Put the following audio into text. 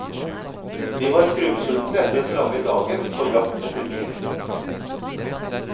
Vi var skrubbsultne etter den lange dagen på jakt etter bil.